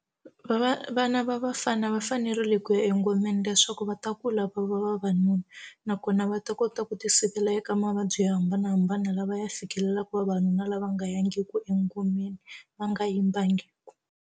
vana va vafana va fanerile kuya engomeni leswaku va ta kula va va vavanuna nakona va ta kota ku ti sivela eka mavabyi yo hambanahambana lava ya fikelelaku vavanuna lava nga ya ngi ku engomeni va nga yimbangiku.